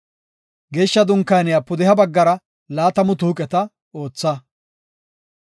Geeshsha Dunkaaniya pudeha baggara laatamu tuuqeta ootha.